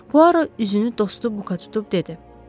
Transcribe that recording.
Puaro üzünü dostu Buka tutub dedi: